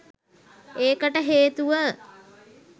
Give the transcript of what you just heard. ඒකට හේතුව